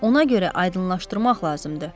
Ona görə aydınlaşdırmaq lazımdır.